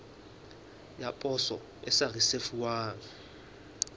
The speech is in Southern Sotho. ya poso e sa risefuwang